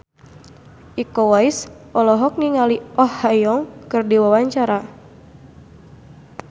Iko Uwais olohok ningali Oh Ha Young keur diwawancara